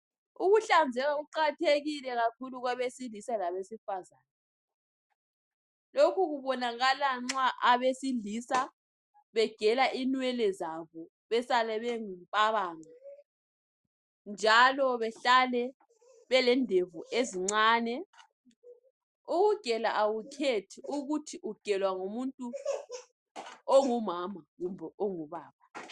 Ukuhlanzeka kuqakathekile kakhulu kwabesilisa labesifazana. Lokhu kubonaka nxa abesilisa begela inwele zabo besale belempabanga njalo behlale belendevu ezincane. Ukugela akukhethi ukuthi ugelwa ngumuntu ongumama kumbe ongubaba.